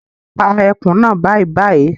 Pa ẹkùn naa bàìbàì!